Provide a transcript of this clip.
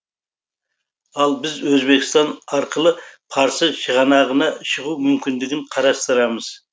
ал біз өзбекстан арқылы парсы шығанағына шығу мүмкіндігін қарастырамыз